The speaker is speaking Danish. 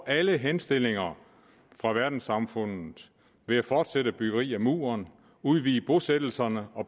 alle henstillinger fra verdenssamfundet ved at fortsætte byggeriet af muren udvide bosættelserne og